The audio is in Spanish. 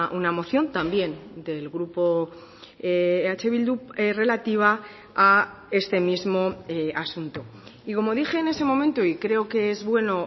una moción también del grupo eh bildu relativa a este mismo asunto y como dije en ese momento y creo que es bueno